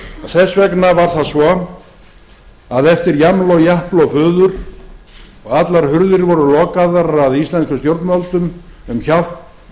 þess vegna var það svo að eftir jaml og japl og fuður og allar hurðir voru lokaðar að íslenskum stjórnvöldum um hjálp þá